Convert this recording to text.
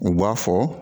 U b'a fɔ